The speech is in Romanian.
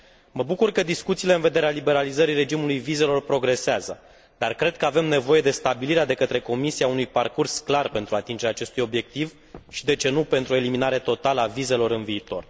Mă bucur că discuțiile în vederea liberalizării regimului vizelor progresează, dar cred că avem nevoie de stabilirea de către Comisie a unui parcurs clar pentru atingerea acestui obiectiv și, de ce nu, pentru o eliminare totală a vizelor în viitor.